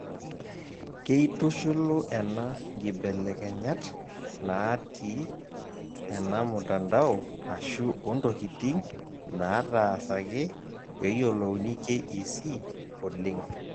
Keitushulu ena nkibilekenyat naati ena mtandao ashu ontokiting nataasaki peyolouni KEC oleng'.